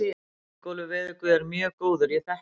Ingólfur veðurguð er mjög góður, ég þekki hann.